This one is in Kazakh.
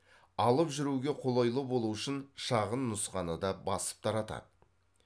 алып жүруге қолайлы болу үшін шағын нұсқаны да басып таратады